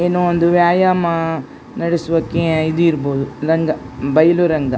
ಏನೋ ಒಂದು ವ್ಯಾಯಾಮ ನಡೆಸುವ ಕೆ ಇದು ಇರಬಹುದು ರಂಗ ಬಯಲು ರಂಗ --